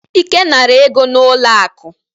Ike nara ego n'ụlọ akụ.